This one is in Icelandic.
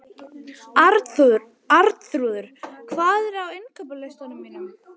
Arnþrúður, hvað er á innkaupalistanum mínum?